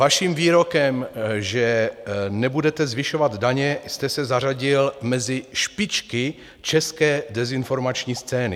Vaším výrokem, že nebudete zvyšovat daně, jste se zařadil mezi špičky české dezinformační scény.